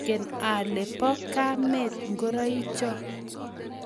Angen ale bo kame ngoroik cho